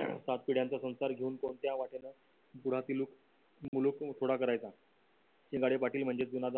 सात पिढ्यांचा संसार घेऊन कोणत्या वाटेला करायचा शिंगाडे पाटील म्हणजे जुना